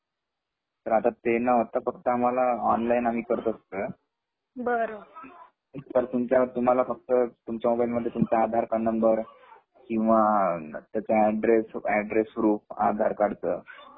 तर आता ते न होता आम्हालाऑनलाईन आम्ही करतो सगळ बर त्यामध्ये तुम्हाला फक्त तुमचा मोबाईलमध्ये आधार कार्डनंबर किंवा त्याचा अड्रेस प्रूफ आधारकार्डच